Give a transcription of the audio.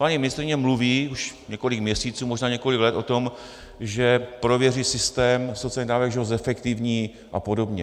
Paní ministryně mluví už několik měsíců, možná několik let o tom, že prověří systém sociálních dávek, že ho zefektivní a podobně.